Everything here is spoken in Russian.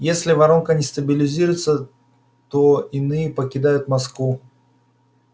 если воронка не стабилизируется то иные покидают москву